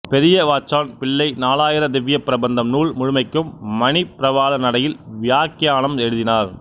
பெரியவாச்சான் பிள்ளை நாலாயிர திவ்வியப் பிரபந்தம் நூல் முழுமைக்கும் மணிப்பிரவாள நடையில் வியாக்கியானம் எழுதினார்